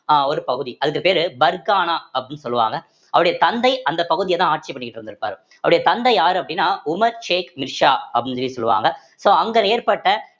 அஹ் ஒரு பகுதி அதுக்கு பேரு பர்கானா அப்படின்னு சொல்லுவாங்க அவருடைய தந்தை அந்த பகுதியதான் ஆட்சி பண்ணிக்கிட்டு இருந்திருப்பாரு அவருடைய தந்தை யாரு அப்படின்னா உமர் ஷேக் மிர்சா அப்படின்னு சொல்லி சொல்லுவாங்க so அங்க ஏற்பட்ட